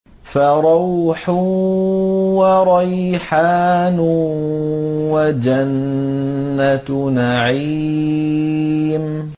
فَرَوْحٌ وَرَيْحَانٌ وَجَنَّتُ نَعِيمٍ